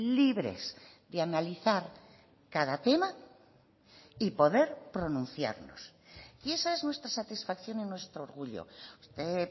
libres de analizar cada tema y poder pronunciarnos y esa es nuestra satisfacción y nuestro orgullo usted